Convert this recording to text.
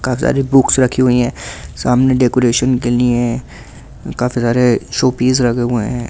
काफी सारी बुक्स रही हुई है सामने डेकुरेशन के लिए ऐं काफी सारे शो पीस रखे हुए हैं ।